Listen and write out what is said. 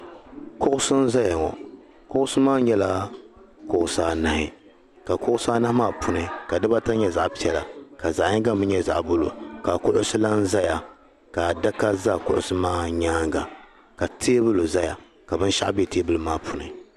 kuɣisi n-zaya ŋɔ kuɣisi maa nyɛla kuɣisi anahi ka kuɣisi anahi puuni ka dibaata nyɛ zaɣ' piɛla ka zaɣ' yiŋga mi nyɛ zaɣ' buluu ka kuɣisi lahi zaya ka adaka za kuɣisi maa nyaaŋa ka teebuli zaya ka binshɛɣu be teebuli maa puuni